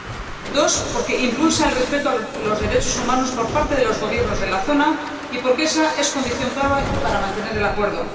en segundo lugar, porque impulsa el respeto de los derechos humanos por parte de los Gobiernos de la zona y porque ésa es condición clave para mantener el acuerdo